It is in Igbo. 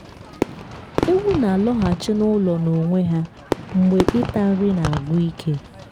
ewu na-alọghachi n’ụlọ n’onwe ha mgbe ịta nri na-agwụ ike.